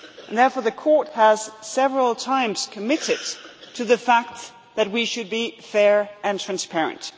Therefore the court has several times committed to the fact that we should be fair and transparent.